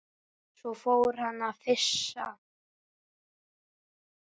Svo fór hann að flissa.